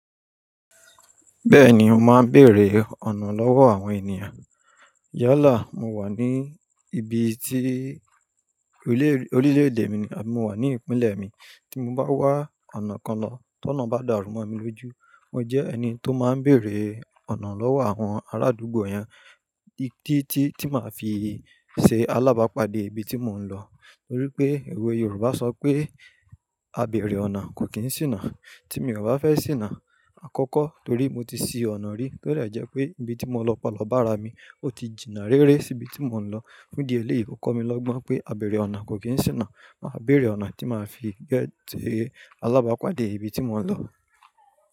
Bẹ́ẹ̀ni, mo máa ń bèrè ọ̀nà lọ́wọ́ àwọn ènìyàn. Ya láà, mo wà ní ibi tí orílẹ̀-èdè mi ni, abi mo wà ní ìpínlẹ̀ mi, tí mo bá wá ọ̀nà kan lọ tó náà bá dàrú ọ̀mù mi lójú, mo jẹ́ ẹni tó máa ń béèrè ọ̀nà lọ́wọ́ àwọn arádúgbò yẹn títí tí màá fi ṣe alábàápàdé ibi tí mò ń lọ. Torí pé òwe Yorùbá sọ pé "àbẹ̀rẹ̀ ọ̀nà kò kí ń ṣìnà" tí mo ò bá fẹ́ ṣìnà àkọ́kọ́ torí mo ti ṣì ọ̀nà rí to jẹ́ pé ibi tí mo lọ pà lọ bá rà mi, ó ti jìnnà rere sí ibi tí mò ń lọ. Fun di eléyìí, ó kọ́ mi lọ́gbọ́n pé àbèrè ọ̀nà kò kí ń ṣìnà, màá bèrè ọ̀nà tí màá fi gẹtí alábàápàdé ibi tí mò ń lọ.